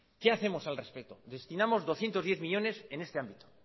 qué hacemos al respecto destinamos doscientos diez millónes en este ámbito